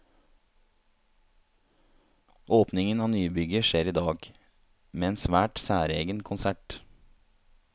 Åpningen av nybygget skjer i dag, med en svært særegen konsert.